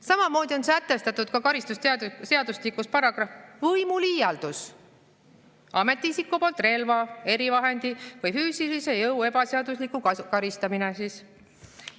Samamoodi on sätestatud karistusseadustikus paragrahv võimuliialduse kohta: ametiisiku poolt relva, erivahendi või füüsilise jõu ebaseaduslik.